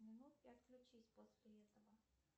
минут и отключись после этого